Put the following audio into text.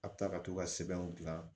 A bɛ taa ka to ka sɛbɛnw dilan